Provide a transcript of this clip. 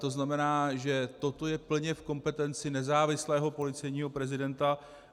To znamená, že toto je plně v kompetenci nezávislého policejního prezidenta.